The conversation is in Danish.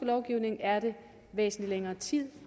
lovgivning er det væsentlig længere tid